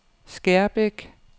Skærbæk